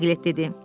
Piqlet dedi.